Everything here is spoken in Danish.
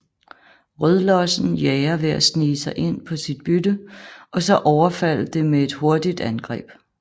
Rødlossen jager ved at snige sig ind på sit bytte og så overfalde det med et hurtigt angreb